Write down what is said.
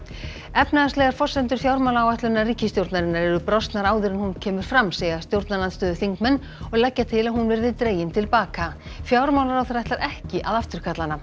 efnahagslegar forsendur fjármálaáætlunar ríkisstjórnarinnar eru brostnar áður en hún kemur fram segja stjórnarandstöðuþingmenn og leggja til að hún verði dregin til baka fjármálaráðherra ætlar ekki að afturkalla hana